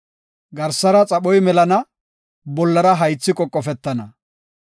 Garsara xaphoy melana; bollara haythi qoqofetana.